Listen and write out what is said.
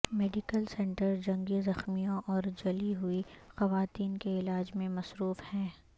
medical centre جنگی زخمیوں اور جلی ہوئی خواتین کے علاج میں مصروف ہے